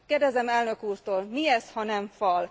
Kérdezem elnök úrtól mi ez, ha nem fal?